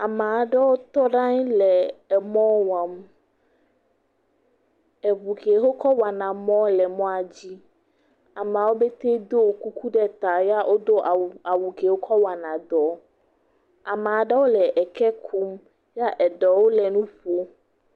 Ame aɖewo tɔ ɖe anyi le emɔ wɔm. Eŋu ke wokɔ wɔna mɔ le mɔa dzi. Ame aɖewo tse ɖo kuku ɖe ta ya wodo awu awu ke wokɔ wɔna dɔ. Ame aɖewo le eke kum ya eɖewo le nu ƒlem.